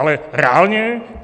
Ale reálně?